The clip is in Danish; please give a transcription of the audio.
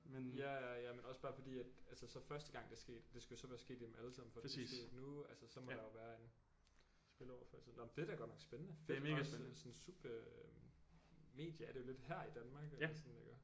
Ja ja ja men også bare fordi at altså så første gang det er sket det skulle jo så være sket ved dem alle sammen for at det sker nu altså så må der jo være en spillover før i tiden nåh men det er da godt nok spændende fedt også sådan super øh medie er det jo lidt her i Danmark eller sådan iggå